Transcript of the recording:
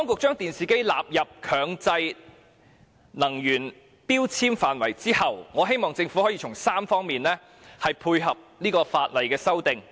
在電視機納入強制性標籤計劃後，我希望政府可以從3方面配合《修訂令》。